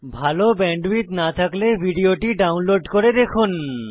ভাল ব্যান্ডউইডথ না থাকলে ভিডিওটি ডাউনলোড করে দেখুন